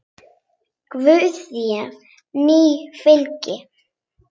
Guð þér nú fylgi.